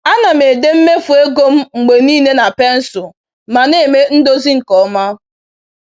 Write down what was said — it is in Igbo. A na m ede mmefu ego m mgbe niile na pensụl ma na-eme ndozi nke ọma